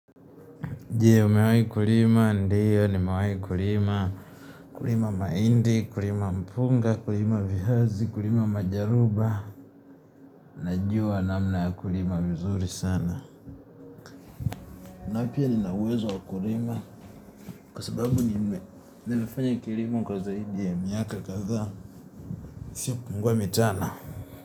Je, umewai kulima, ndiyo, nimawahi kulima, kulima mahindi, kulima mpunga, kulima viazi, kulima majaruba, najua namna ya kulima vizuri sana. Na pia nina uwezo wa kulima, kwa sababu nime nimefanya kilimo kwa zaidi ya miaka kadhaa, isiopungua mitano.